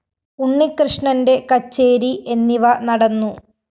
ഉണ്ണികൃഷ്ണന്റെ കച്ചേരി എന്നിവ നടന്നു